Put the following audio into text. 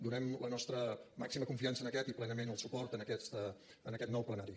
donem la nostra màxima confiança a aquest i plenament el suport a aquest nou plenari